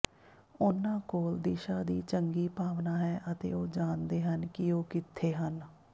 ਉਨ੍ਹਾਂ ਕੋਲ ਦਿਸ਼ਾ ਦੀ ਚੰਗੀ ਭਾਵਨਾ ਹੈ ਅਤੇ ਉਹ ਜਾਣਦੇ ਹਨ ਕਿ ਉਹ ਕਿਥੇ ਹਨ